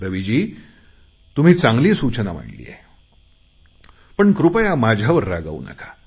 रवीजी तुम्ही चांगली सूचना मांडली आहे पण कृपया माझ्यावर रागावू नका